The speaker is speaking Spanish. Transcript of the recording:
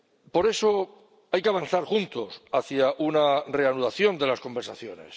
Por eso, hay que avanzar juntos hacia una reanudación de las conversaciones.